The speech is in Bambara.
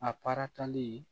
A paratali